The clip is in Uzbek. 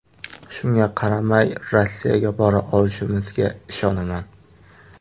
Shunga qaramay, Rossiyaga bora olishimizga ishonaman.